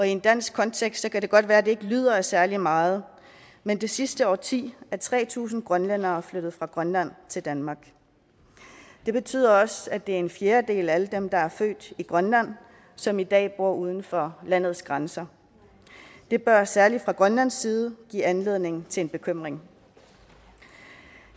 en dansk kontekst kan det godt være at det ikke lyder af særlig meget men det sidste årti er tre tusind grønlændere flyttet fra grønland til danmark det betyder også at det er en fjerdedel af alle dem der er født i grønland som i dag bor uden for landets grænser det bør særlig fra grønlands side give anledning til bekymring